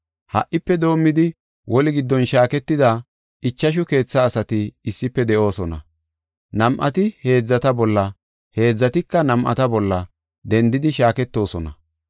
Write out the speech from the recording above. Ha77ife doomidi woli giddon shaaketida ichashu keethaa asati issife de7oosona. Nam7ati heedzata bolla, heedzatika nam7ata bolla, dendidi shaaketoosona.